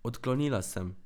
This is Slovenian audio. Odklonila sem.